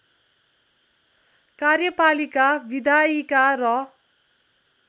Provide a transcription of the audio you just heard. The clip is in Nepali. कार्यपालिका विधायिका र